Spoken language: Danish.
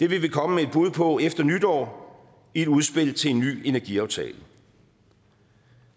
vil vi komme med et bud på efter nytår i et udspil til en ny energiaftale og